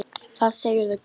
Hvað segirðu gott?